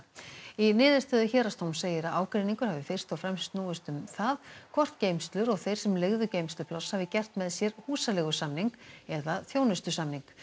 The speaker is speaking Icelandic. í niðurstöðu héraðsdóms segir að ágreiningur hafi fyrst og fremst snúist um það hvort geymslur og þeir sem leigðu geymslupláss hafi gert með sér húsaleigusamning eða þjónustusamning